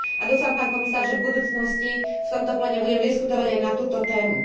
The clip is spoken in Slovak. A dúfam, pán komisár, že v budúcnosti v tomto pléne budeme diskutovať aj na túto tému.